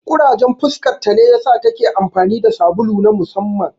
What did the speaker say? Ƙurajen fuskarta ne ya sa ta ke amfani da sabulu na musamman.